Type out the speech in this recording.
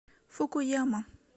фукуяма